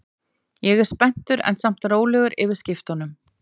Ég er spenntur en samt rólegur yfir skiptunum.